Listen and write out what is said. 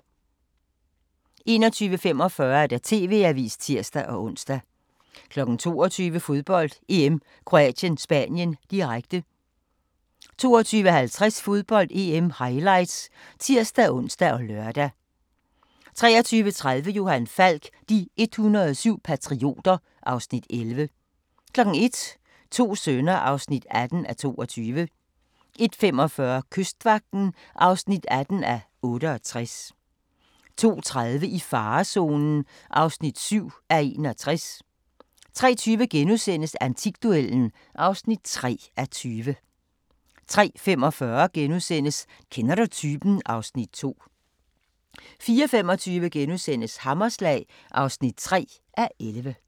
21:45: TV-avisen (tir-ons) 22:00: Fodbold: EM - Kroatien-Spanien, direkte 22:50: Fodbold: EM - highlights (tir-ons og lør) 23:30: Johan Falk: De 107 patrioter (Afs. 11) 01:00: To sønner (18:22) 01:45: Kystvagten (18:68) 02:30: I farezonen (7:61) 03:20: Antikduellen (3:20)* 03:45: Kender du typen? (Afs. 2)* 04:25: Hammerslag (3:11)*